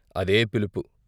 అదే పిలుపు.